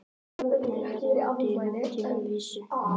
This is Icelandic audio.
Nei, verða úti á nútímavísu